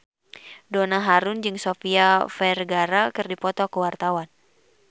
Donna Harun jeung Sofia Vergara keur dipoto ku wartawan